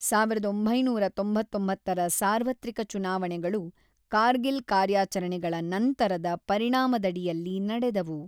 ಸಾವಿರದ ಒಂಬೈನೂರ ತೊಂಬತ್ತೊಂಬತ್ತರ ಸಾರ್ವತ್ರಿಕ ಚುನಾವಣೆಗಳು ಕಾರ್ಗಿಲ್ ಕಾರ್ಯಾಚರಣೆಗಳ ನಂತರದ ಪರಿಣಾಮದಡಿಯಲ್ಲಿ ನಡೆದವು.